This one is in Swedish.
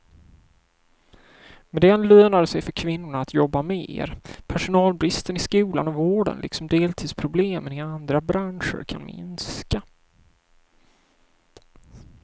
Med den lönar det sig för kvinnorna att jobba mer, personalbristen i skolan och vården liksom deltidsproblemen i andra branscher kan minska.